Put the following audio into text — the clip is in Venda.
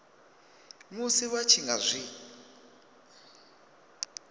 musi vha tshi nga zwi